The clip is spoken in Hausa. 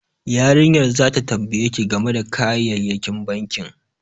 Yarinyar zata tambaye ki game da kayayyakin bankin